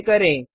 इसे करें